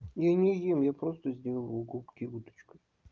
я не ем я просто сделал губки уточкой